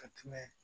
Ka tɛmɛ